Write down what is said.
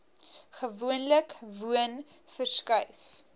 gewoonlik woon verskuif